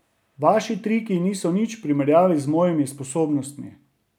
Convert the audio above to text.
Vaši triki niso nič v primerjavi z mojimi sposobnostmi.